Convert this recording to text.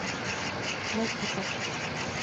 латипов